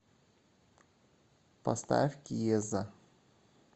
поставь киеза